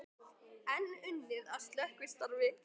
Enn unnið að slökkvistarfi